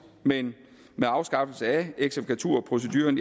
men med afskaffelsen af eksekvaturproceduren